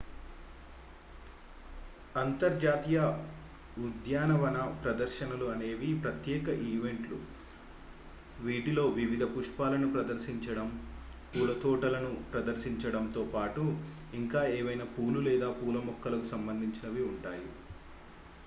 అంతర్జాతీయ ఉద్యానవన ప్రదర్శనలు అనేవి ప్రత్యేక ఈవెంట్లు వీటిలో వివిధ పుష్పాలను ప్రదర్శించడం పూల తోటలను ప్రదర్శించడంతో పాటు ఇంకా ఏవైనా పూలు లేదా పూల మొక్కలకు సంబంధించినవి ఉంటాయి